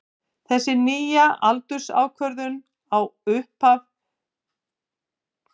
Þessi nýja aldursákvörðun á upphafi pleistósentíma er jarðfræðileg skilgreining á því hvenær síðasta ísöld hófst.